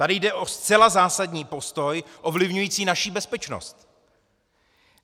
Tady jde o zcela zásadní postoj ovlivňující naši bezpečnost!